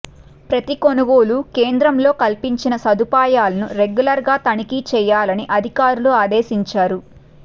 ప్రతి కొనుగోలు కేంద్రంలో కల్పించిన సదుపాయాలను రెగ్యులర్గా తనిఖీ చేయాలని అధికారులను ఆదేశించారు